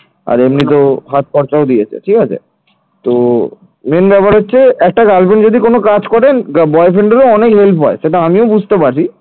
আর এমনিতেও হাত খরচাও দিয়েছে ঠিক আছে তো main ব্যাপার হচ্ছে একটা girlfriend যদি কোন কাজ করে boyfriend অনেক help হয় সেটা আমিও বুঝতে পারি